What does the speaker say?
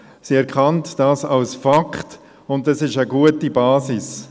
Sie erkennt dies als Fakt, und dies ist eine gute Basis.